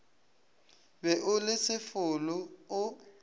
be o le sefolo o